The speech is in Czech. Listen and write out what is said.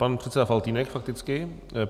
Pan předseda Faltýnek fakticky.